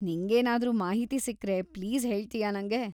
ನಿಂಗೇನಾದ್ರೂ ಮಾಹಿತಿ ಸಿಕ್ರೆ ಪ್ಲೀಸ್ ಹೇಳ್ತೀಯಾ‌ ನಂಗೆ?